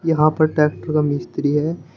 यहां पर ट्रैक्टर का मिस्त्री है।